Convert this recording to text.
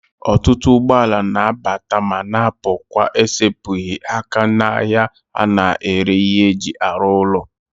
Otutu ugboala na-abata ma na-apukwa n'esepughi aka n'ahia a na-ere ihe eji aru ulo.